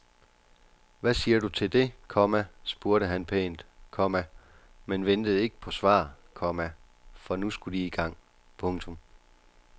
Hvad siger du til det, komma spurgte han pænt, komma men ventede ikke på svar, komma for nu skulle de i gang. punktum